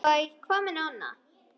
Og hvað með Nonna?